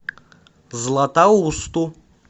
златоусту